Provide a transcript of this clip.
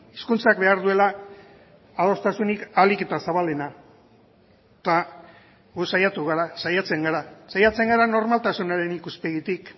hizkuntzak behar duela adostasunik ahalik eta zabalena eta gu saiatu gara saiatzen gara saiatzen gara normaltasunaren ikuspegitik